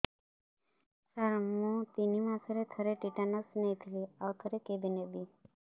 ସାର ମୁଁ ତିନି ମାସରେ ଥରେ ଟିଟାନସ ନେଇଥିଲି ଆଉ ଥରେ କେବେ ନେବି